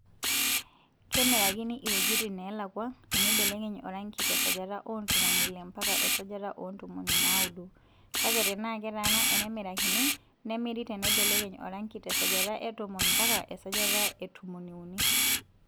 Kemirakini iwuejitin neelakua teneibelekeny oranki te sajata oo ntomoni Ile mpaka esajata oo ntomoni naaudo kake tenaa ketaana enemirakini nemiri teneibelekeny oranki te sajata etomon mpaka esajata e tomoniuni.